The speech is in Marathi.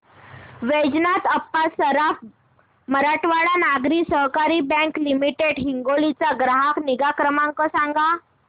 वैजनाथ अप्पा सराफ मराठवाडा नागरी सहकारी बँक लिमिटेड हिंगोली चा ग्राहक निगा क्रमांक सांगा